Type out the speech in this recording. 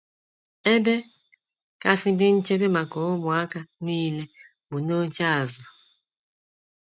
Ebe kasị dị nchebe maka ụmụaka nile bụ n’oche azụ.